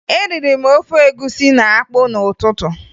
Eriri m ofe egwusi na akpụ n'ụtụtụ